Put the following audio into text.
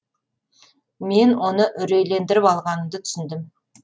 мен оны үрейлендіріп алғанымды түсіндім